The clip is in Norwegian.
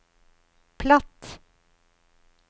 platt